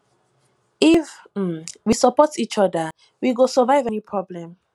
if um we support each oda we go survive any problem